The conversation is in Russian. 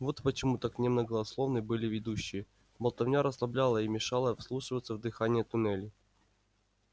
вот почему так немногословны были ведущие болтовня расслабляла и мешала вслушиваться в дыхание туннелей